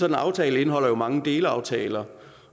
en aftale indeholder jo mange delaftaler